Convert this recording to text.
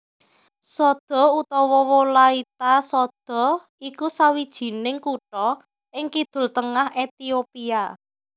Sodo utawa Wolaita Sodo iku sawijining kutha ing kidul tengah Ethiopia